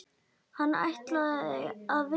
Hann ætlaði að vinna.